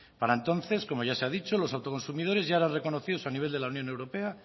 para entonces como ya se ha dicho los autoconsumidores ya eran reconocidos a nivel de la unión europea